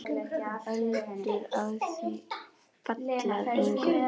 Öldur á því falla að engu.